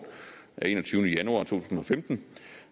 af enogtyvende januar to tusind og femten